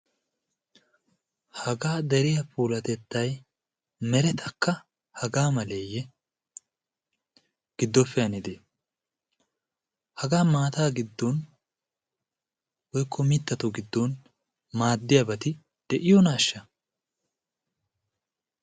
hagaa dariya poolatettai meretakka hagaa maleeyye? giddoppe hanidee? hagaa maataa giddon woykko mittato giddon maaddiyaabati de'iyonaashsha?